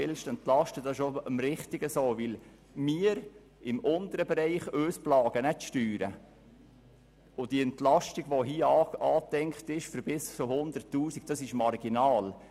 Denn die Unternehmen im untersten Bereich werden nicht von den Steuern geplagt, und die hier angedachte Entlastung für bis zu 100 000 Franken Gewinn ist marginal.